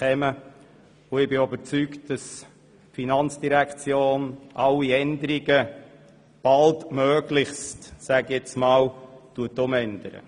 Ich bin auch überzeugt, dass die FIN alle Änderungen baldmöglichst vornimmt.